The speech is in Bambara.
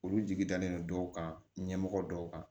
Olu jigi dalen don dɔw kan ɲɛmɔgɔ dɔw kan